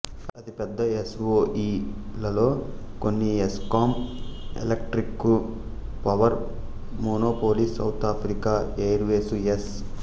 అతిపెద్ద S O E లలో కొన్ని Eskom electric power monopoly South Africa airways yes